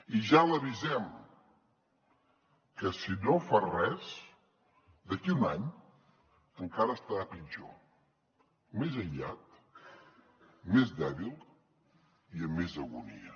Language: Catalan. i ja l’avisem que si no fa res d’aquí un any encara estarà pitjor més aïllat més dèbil i amb més agonia